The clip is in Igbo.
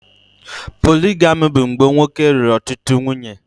Poligami bụ mgbe nwoke lụrụ ọtụtụ nwunye